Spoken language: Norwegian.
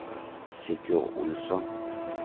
Sigurd Olsson